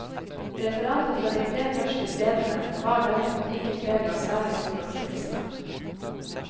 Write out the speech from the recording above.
Referatet fra de tre første stedene bar derimot ikke preg av særlig stor optimisme.